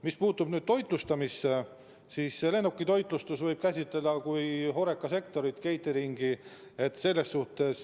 Mis puutub toitlustamisse, siis lennukitoitlustust võib käsitleda kui HoReCa sektori osa, catering'i.